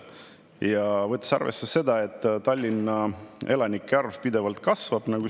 Ja tuleb arvesse võtta seda, et Tallinna elanike arv pidevalt kasvab.